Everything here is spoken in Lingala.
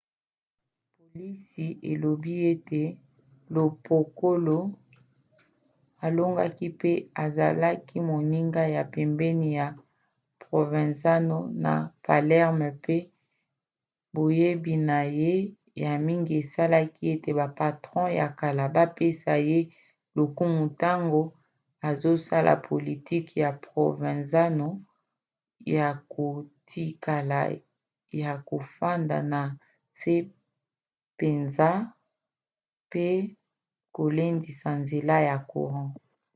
polisi elobi ete lo piccolo alongaki mpo azalaki moninga ya pembeni ya provenzano na palerme pe boyebi na ye ya mingi esali ete bapatron ya kala bapesa ye lokumu ntango azosala politiki ya provenzano ya kotikala ya kofanda na nse mpenza mpe kolendisa nzela ya courant